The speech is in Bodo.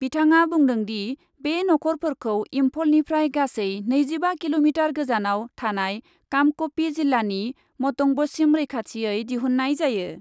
बिथाङा बुंदोंदि, बे नख'रफोरखौ इम्फलनिफ्राय गासै नैजिबा किल'मिटार गोजानाव थानाय कांपकपि जिल्लानि मटंबसिम रैखाथियै दिहुन्नाय जायो ।